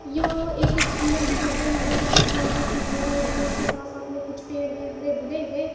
यह एक सुंदर व्हियू है। यहां पर कुछ बिल्डिंग दिखाई दे रही है इसके साथ साथ में कुछ पेड़ है हरे भरे हैं।